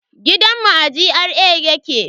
Gidan mu a GRA yake